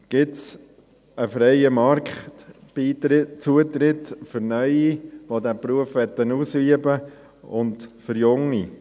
Gibt es einen freien Marktzutritt für Neue, die diesen Beruf ausüben möchten, und für Junge?